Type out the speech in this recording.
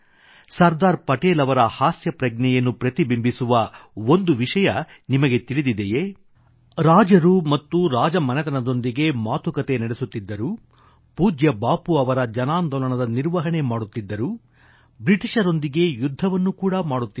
ಸರ್ದಾರ್ ಪಟೇಲ್ ಅವರ ಹಾಸ್ಯ ಪ್ರಜ್ಞೆಯನ್ನು ಸೆನ್ಸೆ ಒಎಫ್ ಹ್ಯೂಮರ್ ಪ್ರತಿಬಿಂಬಿಸುವ ಒಂದು ವಿಷಯ ನಿಮಗೆ ತಿಳಿದಿದೆಯೇ ರಾಜರು ರಾಜಮನೆತನದೊಂದಿಗೆ ಮಾತುಕತೆ ನಡೆಸುತ್ತಿದ್ದರು ಪೂಜ್ಯ ಬಾಪೂ ಅವರ ಜನಾಂದೋಲನದ ನಿರ್ವಹಣೆ ಮಾಡುತ್ತಿದ್ದರು ಬ್ರಿಟಿಷರೊಂದಿಗೆ ಯುದ್ಧವನ್ನು ಕೂಡಾ ಮಾಡುತ್ತಿದ್ದರು